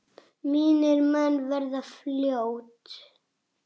Mínir menn verða fljót